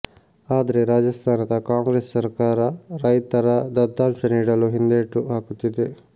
ಆದ್ರೆ ರಾಜಸ್ಥಾನದ ಕಾಂಗ್ರೆಸ್ ಸರ್ಕಾರ ರೈತರ ದತ್ತಾಂಶ ನೀಡಲು ಹಿಂದೇಟು ಹಾಕುತ್ತಿದೆ